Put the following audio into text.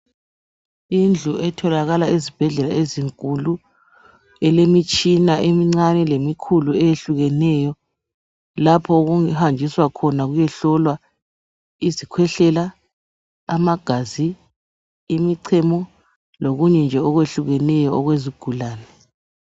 Indlu etholakala ezibhedlela ezinkulu elemitshina emincane lemikhulu eyehlukeneyo lapho okuhanjiswa khona kuyehlolwa izikhwehlela, amagazi imichemo lokunye nje okwehlukeneyo okwezigulane.